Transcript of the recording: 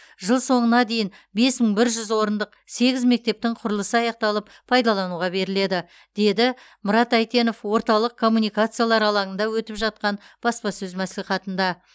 жыл соңына дейін бес мың бір жүз орындық сегіз мектептің құрылысы аяқталып пайдалануға беріледі деді мұрат әйтенов орталық коммуникациялар алаңында өтіп жатқан баспасөз мәслихатында